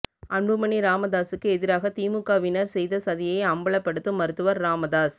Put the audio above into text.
அன்புமணி ராமதாஸுக்கு எதிராக திமுகவினர் செய்த சதியை அம்பலப்படுத்தும் மருத்துவர் ராமதாஸ்